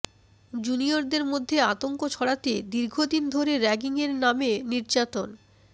জুনিয়রদের মধ্যে আতঙ্ক ছড়াতে দীর্ঘদিন ধরে র্যাগিংয়ের নামে নির্যাতন